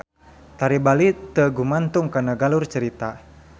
Tari Bali teu gumantung kana galur cerita.